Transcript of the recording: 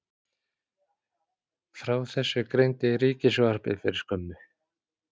Frá þessu greindi Ríkissjónvarpið fyrir skömmu